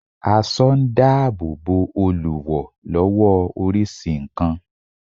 Aso n da ààbò Bo Olùwò lowo orisi nkan